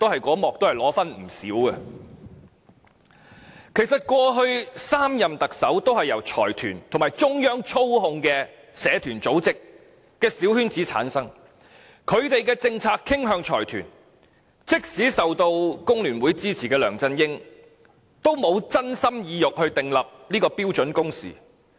其實過去3任特首，都是在財團和中央操控的社團組織小圈子中產生，政策於是傾向財團，即使梁振英受工聯會支持，也沒有真心真意訂立標準工時。